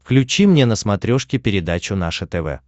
включи мне на смотрешке передачу наше тв